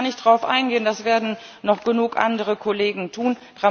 Da muss ich gar nicht drauf eingehen, das werden noch genug andere Kollegen tun.